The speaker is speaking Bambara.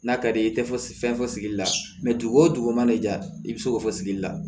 N'a ka di ye i tɛ fo fɛn fɔ sigili la dugu o dugu mana ja i bɛ se k'o fɔ sigili la